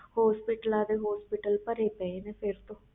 hospital ਦੇ hospital ਭਰੇ ਪੈ ਨੇ ਹੁਣ